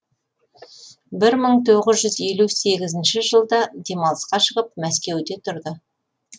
бір мың тоғыз жүз елу сегіз жылда демалысқа шығып мәскеуде тұрды